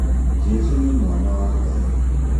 Jesũ nĩ mwana wa ngaĩ